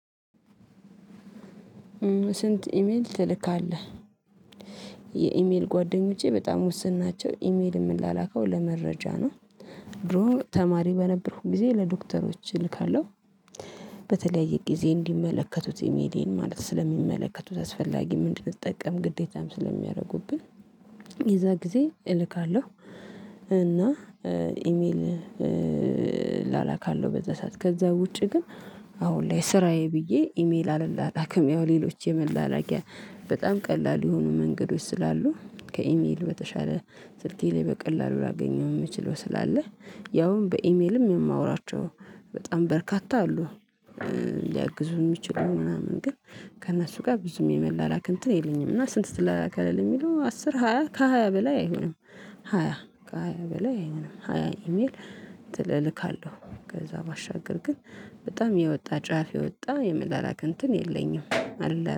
ስንት ኢሜል ትልካለ? የኢሜል ጓደኞቼ በጣም ውስን ናቸው ኢሜል የምለላከው ለመረጃ ነው ድሮ ተማሪ በነበርኩኝ ጊዜ ለዶክተሮች እልካለሁ በተለያየ ጊዜ እንዲመለከቱት ኢሜሌን ማለት ስለሚመለከቱት አስፈላጊ እንድንጠቀም ግዴታም ስለሚያደርጉብን የዛ ጊዜ እልካለሁ እና ኢሜል እላላካለሁ በዛ ሰዓት ከዛ ውጪ ግን አሁን ላይ ስራዬ ብዬ ኢሜል አለላላክም ያው ሌሎች የመላላኪያ በጣም ቀላል የሆኑ መንገዶች ስላሉ ከኢሜል በተሻለ ስልኬ ላይ በቀላሉ ላገኘው የምችለው ስላለ ያውም በኢሜልም የማወራቸው በጣም በርካታ አሉ ሊያግዙ የሚችሉ ምናምን ግን ከእነሱ ጋር ብዙም የመላላክ እንትን የለኝም እና ስንት ትላላካለህ ለሚለው አስር ሃያ ከሃያ በላይ አይሆንም ሃያ ከሃያ በላይ አይሆንም ሃያ ኢሜል ትልልካለሁ ከዛ ባሻገር ግን በጣም የወጣ ጫፍ የወጣ የምላላክ እንትን የለኝም አል